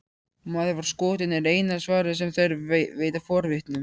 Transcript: Maður var skotinn, er eina svarið sem þeir veita forvitnum.